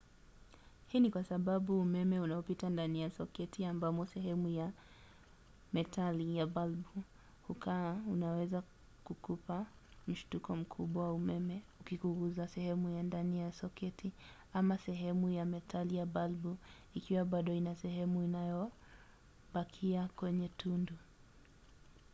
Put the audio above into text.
hii ni kwa sababu umeme unaopita ndani ya soketi ambamo sehemu ya metali ya balbu hukaa unaweza kukupa mshtuko mkubwa wa umeme ukikugusa sehemu ya ndani ya soketi ama sehemu ya metali ya balbu ikiwa bado ina sehemu iliyobakia kwenye tundu